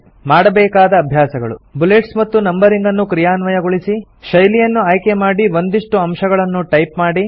ಮಾಡಬೇಕಾದ ಅಭ್ಯಾಸಗಳು160 ಬುಲೆಟ್ಸ್ ಮತ್ತು ನಂಬರಿಂಗ್ ಅನ್ನು ಕ್ರಿಯಾನ್ವಯಗೊಳಿಸಿ ಶೈಲಿಯನ್ನು ಆಯ್ಕೆಮಾಡಿ ಒಂದಿಷ್ಟು ಅಂಶಗಳನ್ನು ಟೈಪ್ ಮಾಡಿ